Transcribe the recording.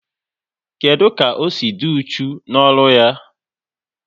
Kedụ ka o si dị uchu n'ọrụ ya?